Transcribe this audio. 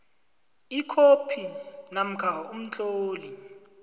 ikhophi namkha umtlolo